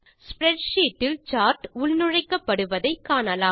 spreadsheet இல் chart உள்நுழைக்கப்படுவதை காணலாம்